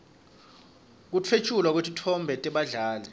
kutfwetjulwa kwetitfombe tebadlali